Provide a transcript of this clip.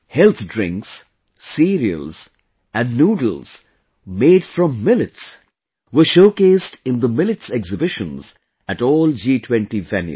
Health drinks, cereals and noodles made from millets were showcased in the Millets Exhibitions at all G20 venues